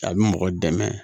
A bɛ mɔgɔ dɛmɛ